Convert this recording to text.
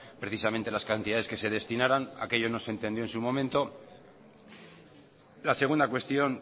precisamente las cantidades que se destinaban aquello no se entendió en su momento la segunda cuestión